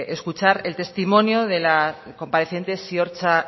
escuchar el testimonio de la compareciente ziortza